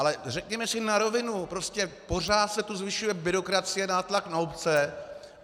Ale řekněme si na rovinu, prostě pořád se tu zvyšuje byrokracie, nátlak na obce.